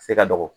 Se ka dɔgɔ